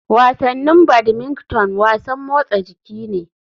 Wasannin badmington wasan motsa jiki ne.